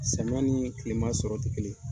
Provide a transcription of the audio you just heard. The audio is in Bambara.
Samiyɛn ni kilema sɔrɔ tɛ kelen.